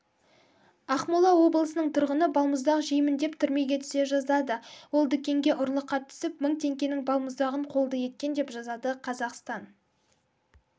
ақмола облысының тұрғыны балмұздақ жеймін деп түрмеге түсе жаздады ол дүкенге ұрлыққа түсіп мың теңгенің балмұздағын қолды еткен деп жазады қазақстан